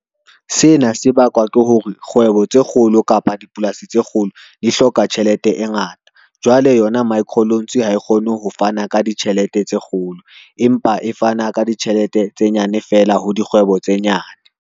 Sena sebakwa ke hore, kgwebo tse kgolo kapa dipolasi tse kgolo di hloka tjhelete e ngata. Jwale yona micro loans ha e kgone ho fana ka ditjhelete tse kgolo, empa e fana ka ditjhelete tse nyane fela ho dikgwebo tse nyane.